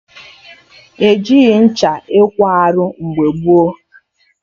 E jighị ncha ekwo arụ mgbe gboo